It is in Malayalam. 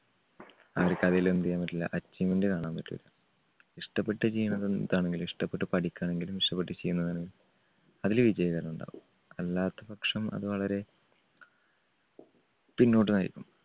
അവർക്ക് അതിൽ എന്ത് ചെയ്യാൻ പറ്റില്ല achievement കാണാൻ പറ്റൂല്ല. ഇഷ്ടപ്പെട്ട് ചെയ്യുന്നത് എന്താണെങ്കിലും ഇഷ്ടപ്പെട്ട് പഠിക്കാണെങ്കിലും ഇഷ്ടപ്പെട്ട് ചെയ്യുന്നതിന് അതില് വിജയകരമുണ്ടാവും. അല്ലാത്തപക്ഷം അത് വളരെ പിന്നോട്ട് നയിക്കും.